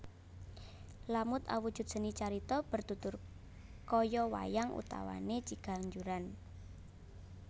Lamut awujud seni carita bertutur kaya wayang utawane ciganjuran